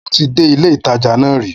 Mo ti dé ilé ìtajà náà rìí